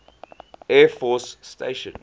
air force station